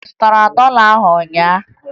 Ị zụtara dọla ụnyaahụ?